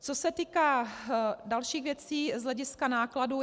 Co se týká dalších věcí z hlediska nákladů.